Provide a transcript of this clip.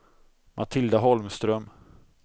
Matilda Holmström